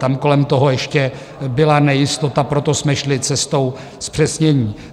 Tam kolem toho ještě byla nejistota, proto jsme šli cestou zpřesnění.